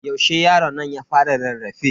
Yaushe yaronnan ya fara rarrafe?